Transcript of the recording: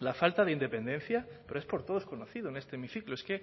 la falta de independencia pero es por todos conocido en este hemiciclo es que